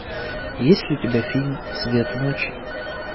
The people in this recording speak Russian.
есть ли у тебя фильм цвет ночи